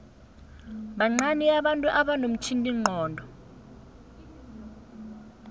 bancani abantu abanomtjhiningcondo